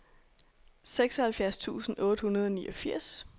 seksoghalvfjerds tusind otte hundrede og niogfirs